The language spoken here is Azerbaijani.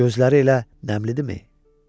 Gözləri elə nəmlidirmi?